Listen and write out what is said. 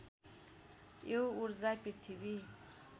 यो ऊर्जा पृथ्वी